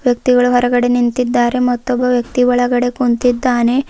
ವ್ಯಕ್ತಿಗಳು ಹೊರಗಡೆ ನಿಂತಿದ್ದಾರೆ ಮತ್ತು ಒಬ್ಬ ವ್ಯಕ್ತಿ ಒಳಗಡೆ ಕುಂತಿದ್ದಾನೆ.